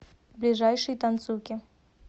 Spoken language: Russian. ближайший танцуки